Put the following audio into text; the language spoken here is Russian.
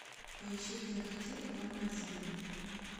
поищи кинокартину дом на озерной